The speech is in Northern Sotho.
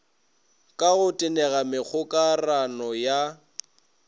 ka go tenega megokarano ya